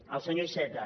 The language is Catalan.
al senyor iceta